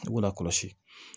I b'o lakɔlɔsi